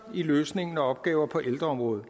i løsningen af opgaver på ældreområdet